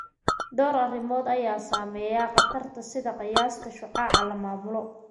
Dhowr arrimood ayaa saameeya khatartan, sida qiyaasta shucaaca la maamulo.